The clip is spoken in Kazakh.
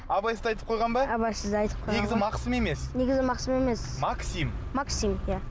абайсызда айтып қойған ба абайсызда айтып қойған негізі мақсым емес негізі мақсым емес максим максим иә